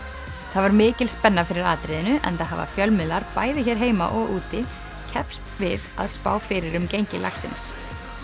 það var mikil spenna fyrir atriðinu enda hafa fjölmiðlar bæði hér heima og úti keppst við að spá fyrir um gengi lagsins